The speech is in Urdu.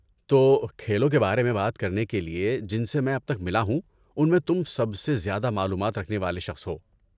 تو، کھیلوں کے بارے میں بات کرنے کے لیے، جن سے میں اب تک ملا ہوں ان میں تم سب سے زیادہ معلومات رکھنے والے شخص ہو۔